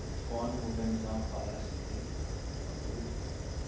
O Fórum organizar uma palestra dele e tal. Ah que legal.